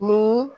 Ni